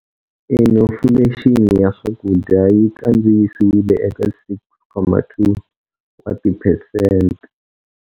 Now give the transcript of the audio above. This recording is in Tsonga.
Inifulexini ya swakudya yi kandziyisiwile eka 6.2 wa tiphesente.